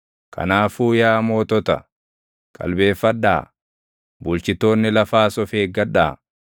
Kanaafuu yaa mootota, qalbeeffadhaa; bulchitoonni lafaas of eeggadhaa.